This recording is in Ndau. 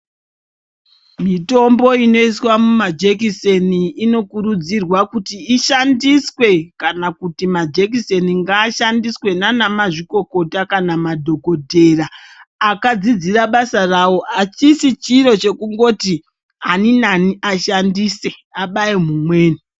Mitombo inoiswa mumajekiseni inokurudzurwa kuti Ishandiswe kana kuti majekiseni ngashandise nana mazvikokota kana madhokodheya akakdzidzira basa rawo achisisi chiro chekuti ani nani ashandise abaye mumweni.